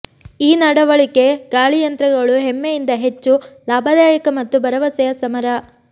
ಈ ನಡವಳಿಕೆ ಗಾಳಿಯಂತ್ರಗಳು ಹೆಮ್ಮೆಯಿಂದ ಹೆಚ್ಚು ಲಾಭದಾಯಕ ಮತ್ತು ಭರವಸೆಯ ಸಮರ